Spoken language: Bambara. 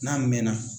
N'a mɛnna